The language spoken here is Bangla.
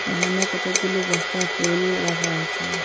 এখানে কতকগুলো বস্তায় ফুল রাখা আছে।